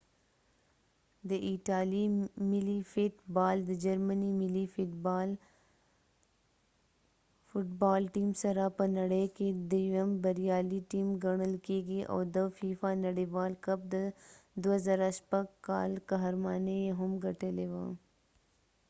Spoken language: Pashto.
د ایټالیې ملي فټ بال د جرمني ملي فټ بال ټیم سره په نړۍ کې دیوم بریالۍ ټیم ګڼل کیږي او د فیفا نړیوال کپ د 2006 کال قهرماني یې هم ګټلې وه